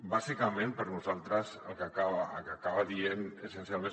bàsicament per nosaltres el que acaba dient essencialment